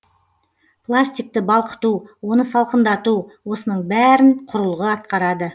пластикті балқыту оны салқындату осының бәрін құрылғы атқарады